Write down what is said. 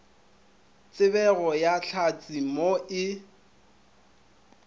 tsebego ya hlatse mo e